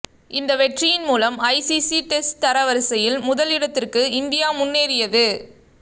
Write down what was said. இந்த வெற்றியின் மூலம் ஐசிசி டெஸ்ட் தர வரிசையில் முதல் இடத்திற்கு இந்தியா முன்னேறியது